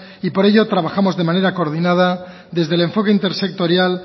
y por ello trabajamos de manera coordinada desde el enfoque intersectorial